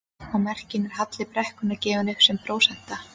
Á merkinu er halli brekkunnar gefinn upp sem prósenta.